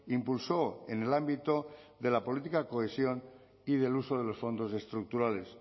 impulso en el ámbito de la política de cohesión y del uso de los fondos estructurales